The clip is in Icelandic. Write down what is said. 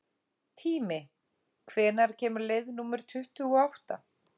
Tími, hvenær kemur leið númer tuttugu og átta?